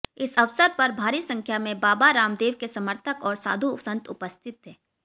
इस अवसर पर भारी संख्या में बाबा रामदेव के समर्थक और साधु संत उपस्थित थे